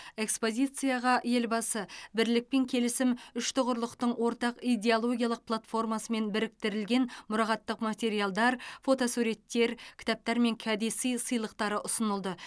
экспозицияға елбасы бірлік пен келісім үштұғырлықтың ортақ идеологиялық платформасымен біріктірілген мұрағаттық материалдар фотосуреттер кітаптар мен кәдесый сыйлықтары ұсынылды